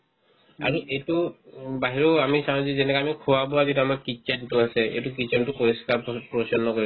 আৰু এইটো উম বাহিৰত আমি খাও যিবিলাক আমিও খোৱা-বোৱা কেইটা আমাৰ kitchen তো আছে এইটো kitchen তো পৰিষ্কাৰ প্ৰৰি~ পৰিচন্নকে